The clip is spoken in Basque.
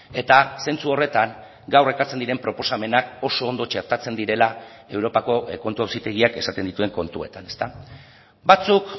eta zentzu horretan gaur ekartzen diren proposamenak oso ondo txertatzen direla europako kontu auzitegiak esaten dituen kontuetan batzuk